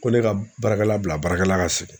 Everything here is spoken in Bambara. Ko ne ka baarakɛla bila baarakɛla ka sigin.